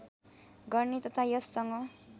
गर्ने तथा यससँग